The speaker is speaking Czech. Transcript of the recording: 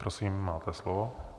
Prosím, máte slovo.